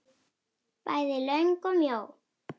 Bæði löng og mjó.